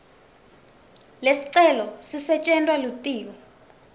lesicelo sisetjentwa litiko